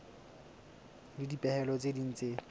le dipehelo tse ding tse